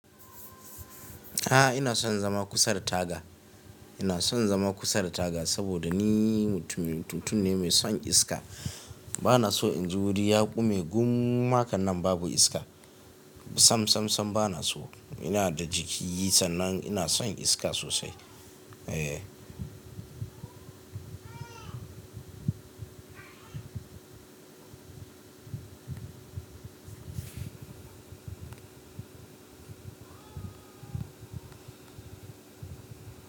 A'a, ina son zama kusa da taga. Ina son zama kusa da taga saboda ni mutum, mutum ne mai son iska. Bana so in ji wuri ya gume gum hakan nan babu iska. Sam, sam, sam bana so. Ina da jiki sannan ina son iska sosai. Eh.